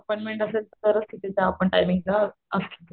Appointment असेल तरच तिथे त्या आपण टाईमिंग ला असतो.